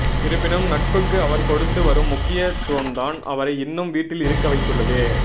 இருப்பினும் நட்புக்கு அவர் கொடுத்து வரும் முக்கியத்துவம்தான் அவரை இன்னும் வீட்டில் இருக்க வைத்துள்ளது